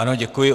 Ano, děkuji.